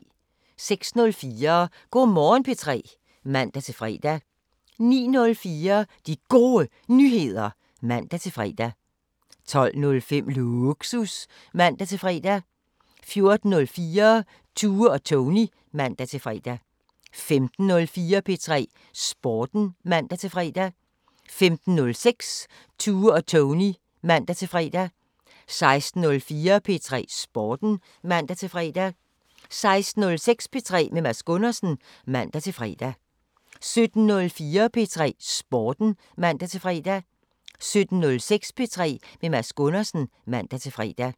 06:04: Go' Morgen P3 (man-fre) 09:04: De Gode Nyheder (man-fre) 12:05: Lågsus (man-fre) 14:04: Tue og Tony (man-fre) 15:04: P3 Sporten (man-fre) 15:06: Tue og Tony (man-fre) 16:04: P3 Sporten (man-fre) 16:06: P3 med Mads Gundersen (man-fre) 17:04: P3 Sporten (man-fre) 17:06: P3 med Mads Gundersen (man-fre)